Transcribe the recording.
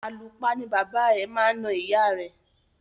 Àlùpa ni bàbá ẹ̀ máa na ìyá ẹ̀.